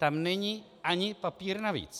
Tam není ani papír navíc.